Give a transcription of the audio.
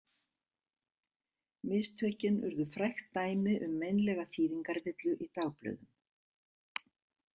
Mistökin urðu frægt dæmi um meinlega þýðingarvillu í dagblöðum.